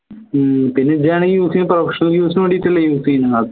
ഹും പിന്നെ ഇഞ്ചാണേൽ use professional use നു വേണ്ടീട്ടല്ലേ use ചെയ്യുന്നത്